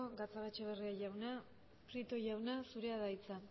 gatxagaetxebarria jauna prieto jauna zurea da hitza